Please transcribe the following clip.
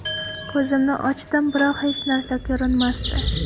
Ko‘zimni ochdim, biroq hech narsa ko‘rinmasdi.